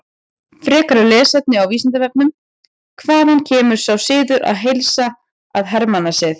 Frekara lesefni á Vísindavefnum: Hvaðan kemur sá siður að heilsa að hermannasið?